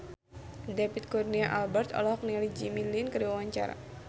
David Kurnia Albert olohok ningali Jimmy Lin keur diwawancara